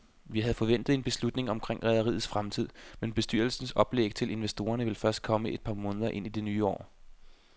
Vi havde forventet en beslutning omkring rederiets fremtid, men bestyrelsens oplæg til investorerne vil først komme et par måneder ind i det nye år.